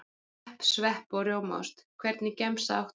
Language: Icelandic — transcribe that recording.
Pepp, svepp og rjómaost Hvernig gemsa áttu?